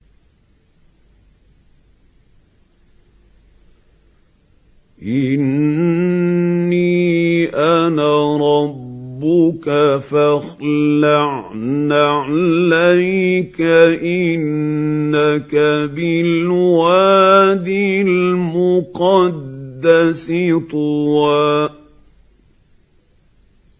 إِنِّي أَنَا رَبُّكَ فَاخْلَعْ نَعْلَيْكَ ۖ إِنَّكَ بِالْوَادِ الْمُقَدَّسِ طُوًى